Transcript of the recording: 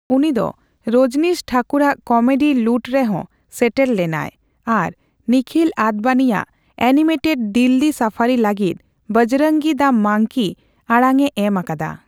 ᱩᱱᱤ ᱫᱚ ᱨᱚᱡᱽᱱᱤᱥ ᱴᱷᱟᱠᱩᱨ ᱟᱜ ᱠᱚᱢᱮᱰᱤ ᱞᱩᱴᱷ ᱨᱮᱦᱚᱸ ᱥᱮᱴᱮᱨ ᱞᱮᱱᱟᱭ ᱟᱨ ᱱᱤᱠᱷᱤᱞ ᱟᱫᱽᱵᱟᱱᱤᱭᱟᱜ ᱮᱱᱤᱢᱮᱴᱮᱰ ᱫᱤᱞᱞᱤ ᱥᱟᱯᱷᱟᱨᱤ ᱞᱟᱹᱜᱤᱫ ᱵᱚᱡᱽᱨᱚᱝᱜᱤ ᱫᱟ ᱢᱟᱝᱠᱤ ᱟᱲᱟᱝᱼᱮ ᱮᱢ ᱟᱠᱟᱫᱟ ᱾